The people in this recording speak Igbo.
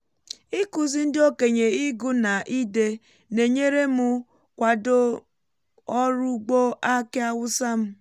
ịkụzi ndị okenye ịgụ na ide na-enyere m kwado ọrụ ugbo aki hausa m